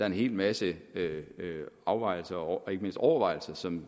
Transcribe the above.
en hel masse afvejelser og ikke mindst overvejelser som